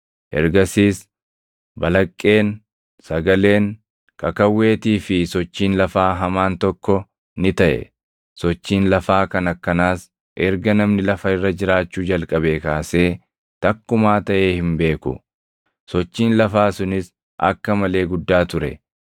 Ergasiis balaqqeen, sagaleen, kakawweetii fi sochiin lafaa hamaan tokko ni taʼe. Sochiin lafaa kan akkanaas erga namni lafa irra jiraachuu jalqabee kaasee takkumaa taʼee hin beeku; sochiin lafaa sunis akka malee guddaa ture.